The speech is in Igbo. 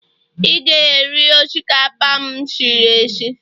ị ga-eri osikapa a m siri sie.